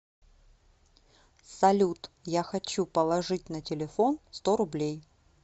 салют я хочу положить на телефон сто рублей